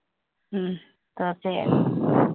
ഉം തീര്‍ച്ചയായും